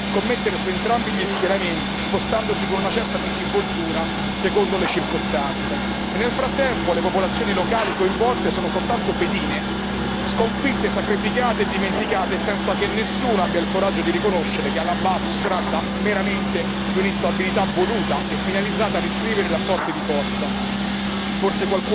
Le grandi potenze continuano a scommettere su entrambi gli schieramenti, spostandosi con una certa disinvoltura secondo le circostanze, e nel frattempo le popolazioni locali coinvolte sono soltanto pedine sconfitte, sacrificate e dimenticate senza che nessuno abbia il coraggio di riconoscere che alla base si tratta meramente di un'instabilità voluta e finalizzata a riscrivere i rapporti di forza.